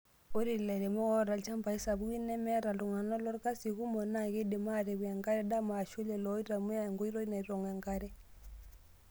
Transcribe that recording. Ore lairemok oota ilchambai sapukin nemeeta iltungana lorkasi kumok naa keidim aatipik enkare dama aashu lelo oitumiya enkoitoi naitong' enkare.